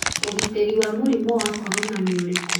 Ũgitĩri wa mũrimũ wa corona nĩ ũrĩkũ?